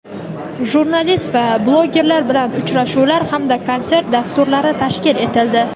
jurnalist va blogerlar bilan uchrashuvlar hamda konsert dasturlari tashkil etildi.